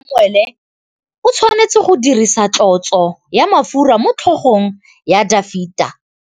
Samuele o tshwanetse go dirisa tlotsô ya mafura motlhôgong ya Dafita.